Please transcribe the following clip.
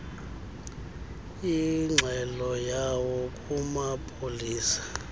ingxelo yawo kumapolisa